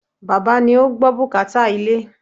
Bàbá ni ó gbọ́ bùkátà ilé.